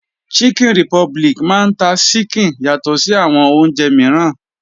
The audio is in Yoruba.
Chicken republic máa ń ta ṣíkìn yàtọ̀ sí àwọn oúnjẹ mìíràn.